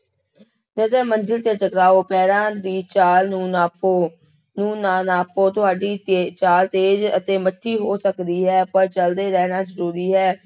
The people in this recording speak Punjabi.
ਨਜ਼ਰ ਮੰਜ਼ਿਲ ਤੇ ਟਕਾਓ, ਪੈਰਾਂ ਦੀ ਚਾਲ ਨੂੰ ਨਾਪੋ, ਨੂੰ ਨਾ ਨਾਪੋ ਤੁਹਾਡੀ ਤੇਜ ਚਾਲ ਤੇਜ ਅਤੇ ਮੱਠੀ ਹੋ ਸਕਦੀ ਹੈ, ਪਰ ਚੱਲਦੇ ਰਹਿਣਾ ਜ਼ਰੂਰੀ ਹੈ।